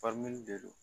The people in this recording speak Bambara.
de do